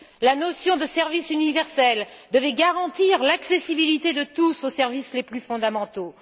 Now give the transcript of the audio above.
La notion de service universel devait garantir l'accessibilité de tous aux services les plus fondamentaux.